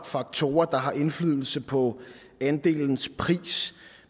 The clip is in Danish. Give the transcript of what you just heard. faktorer der har indflydelse på andelens pris